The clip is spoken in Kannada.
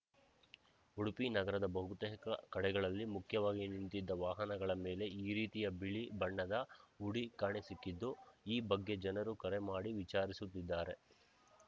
ಉಡುಪಿ ನಗರದ ಬಹುತೇಕ ಕಡೆಗಳಲ್ಲಿ ಮುಖ್ಯವಾಗಿ ನಿಂತಿದ್ದ ವಾಹನಗಳ ಮೇಲೆ ಈ ರೀತಿಯ ಬಿಳಿ ಬಣ್ಣದ ಹುಡಿ ಕಾಣಸಿಕ್ಕಿದ್ದು ಈ ಬಗ್ಗೆ ಜನರು ಕರೆ ಮಾಡಿ ವಿಚಾರಿಸುತ್ತಿದ್ದಾರೆ